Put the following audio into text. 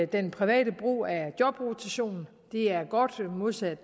den private brug af jobrotation og det er godt modsat